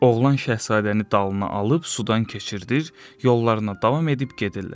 Oğlan şahzadəni dalına alıb sudan keçirdir, yollarına davam edib gedirlər.